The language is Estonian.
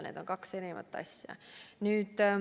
Need on kaks erinevat asja.